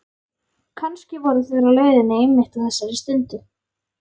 Kannski voru þeir á leiðinni einmitt á þessari stundu.